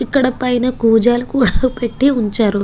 ఇక్కడ పైన కూజాలు కూడా పెట్టి ఉంచారు.